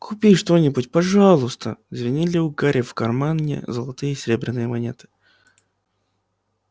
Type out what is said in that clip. купи что-нибудь пожалуйста звенели у гарри в кармане золотые и серебряные монеты